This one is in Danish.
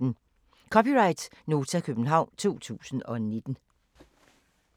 (c) Nota, København 2019